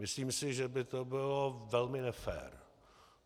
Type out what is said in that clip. Myslím si, že by to bylo velmi nefér.